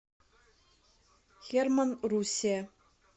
херманн руссия